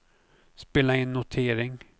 spela in notering